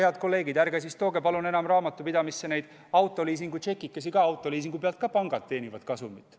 Head kolleegid, ärge siis palun tooge enam raamatupidamisse neid autoliisingu tšekikesi, sest ka autoliisingu pealt teenivad pangad kasumit.